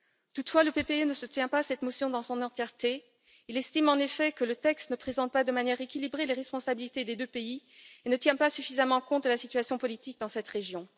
Toutefois, le PPE ne soutient pas cette motion dans son entièreté, il estime en effet que le texte ne présente pas de manière équilibrée les responsabilités des deux pays et ne tient pas suffisamment compte de la situation politique dans cette région.